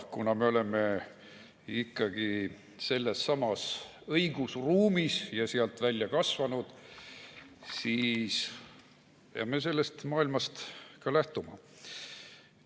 Kuna me oleme ikkagi sellessamas õigusruumis ja sealt välja kasvanud, siis peame sellest maailmast ka lähtuma.